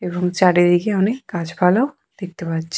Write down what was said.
এবং চারিদিকে অনেক গাছপালাও দেখতে পাচ্ছি।